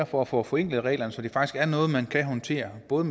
for at få forenklet reglerne så det faktisk er noget man kan håndtere både